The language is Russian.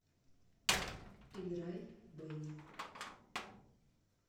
играй бени